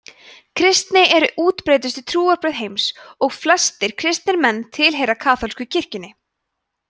kristni er útbreiddustu trúarbrögð heims og flestir kristnir menn tilheyra kaþólsku kirkjunni